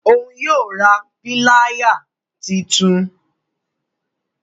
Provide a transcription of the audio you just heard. Òún yóò rà Píláyà títún